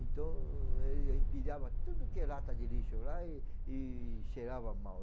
Então, ele empilhava tudo que era lata de lixo lá e e cheirava mal.